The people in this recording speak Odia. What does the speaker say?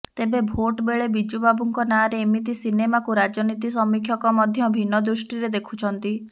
ତେବେ ଭୋଟ ବେଳେ ବିଜୁ ବାବୁଙ୍କ ନାଁରେ ଏମିତି ସିନେମାକୁ ରାଜନୀତି ସମୀକ୍ଷକ ମଧ୍ୟ ଭିନ୍ନ ଦୃଷ୍ଟିରେ ଦେଖୁଛନ୍ତି